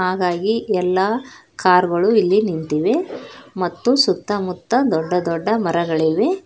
ಹಾಗಾಗಿ ಎಲ್ಲಾ ಕಾರ್ ಗಳು ಇಲ್ಲಿ ನಿಂತಿವೆ ಮತ್ತು ಸುತ್ತಮುತ್ತ ದೊಡ್ಡ ದೊಡ್ಡ ಮರಗಳಿವೆ.